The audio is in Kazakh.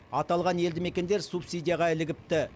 аталған елді мекендер субсидияға ілігіпті